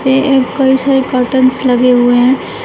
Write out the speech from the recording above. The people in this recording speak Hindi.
ये एक कई सारे कर्टेन्स लगे हुए हैं।